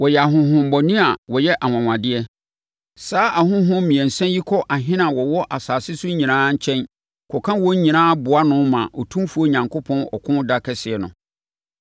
Wɔyɛ ahonhommɔne a wɔyɛ anwanwadeɛ. Saa ahonhom mmiɛnsa yi kɔ ahene a wɔwɔ asase so nyinaa nkyɛn kɔka wɔn nyinaa boa ano ma Otumfoɔ Onyankopɔn ɔko da kɛseɛ no.